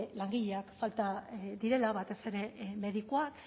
langileak falta direla batez ere medikuak